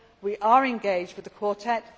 We are engaged with the Quartet.